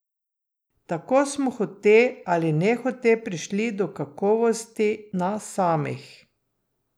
Tako smo hote ali nehote prišli do kakovosti nas samih.